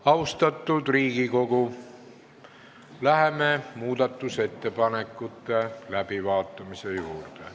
Austatud Riigikogu, läheme muudatusettepanekute läbivaatamise juurde.